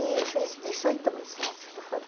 E fiz dezoito meses, acho que foram.